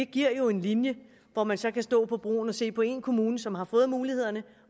giver en linje hvor man så kan stå på broen og se på én kommune som har fået mulighederne